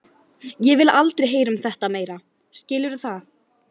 Ég vil aldrei heyra um þetta meira, skilurðu það?